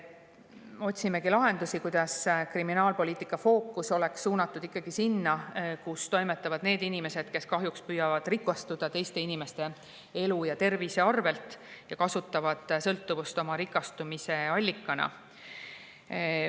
Otsime lahendusi, kuidas kriminaalpoliitika fookus oleks suunatud sinna, kus toimetavad inimesed, kes kahjuks püüavad rikastuda teiste inimeste elu ja tervise arvelt ja kasutavad sõltuvust oma rikastumise allikana.